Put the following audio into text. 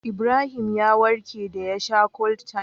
Ibrahim ya warke da ya sha Cold-time